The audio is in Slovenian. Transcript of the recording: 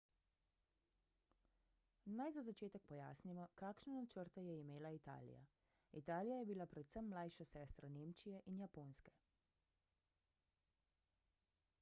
naj za začetek pojasnimo kakšne načrte je imela italija italija je bila predvsem mlajša sestra nemčije in japonske